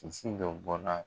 dɔw bɔla.